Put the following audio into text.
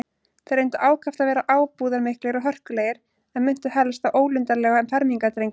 Þeir reyndu ákaft að vera ábúðarmiklir og hörkulegir, en minntu helst á ólundarlega fermingardrengi.